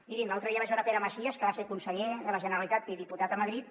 mirin l’altre dia vaig veure pere macias que va ser conseller de la generalitat i diputat a madrid